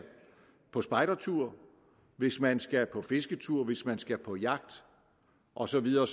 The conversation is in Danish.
på spejdertur hvis man skal på fisketur hvis man skal på jagt og så videre